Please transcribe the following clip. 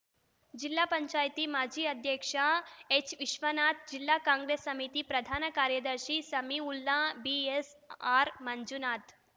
ಜಿಲ್ಲಾ ಪಂಚಾಯತಿ ಮಾಜಿ ಅಧ್ಯಕ್ಷ ಎಚ್‌ವಿಶ್ವನಾಥ್‌ ಜಿಲ್ಲಾ ಕಾಂಗ್ರೆಸ್‌ ಸಮಿತಿ ಪ್ರಧಾನ ಕಾರ್ಯದರ್ಶಿ ಸಮೀವುಲ್ಲಾ ಬಿಎಸ್‌ಆರ್‌ಮಂಜುನಾಥ್‌